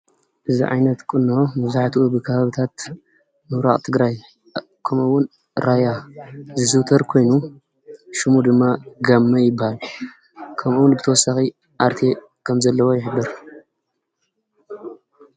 እዚ ዓይነት ቁኖ መብዛሕትኡ ብከባቢታት ምብራቅ ትግራይ ከምኡ እውን ራያ ዝዝውተር ኮይኑ ሹሙ ድማ ጋመ ይባሃል፡፡ ከምኡ እውን ብትወሳኪ ኣርቴ ከም ዘለዎ ይሕብር፡፡